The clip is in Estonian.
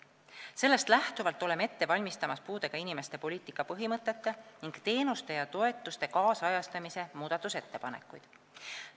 Sellest lähtuvalt oleme ette valmistamas puudega inimeste poliitika põhimõtete ning teenuste ja toetuste nüüdisajastamise muudatusettepanekuid.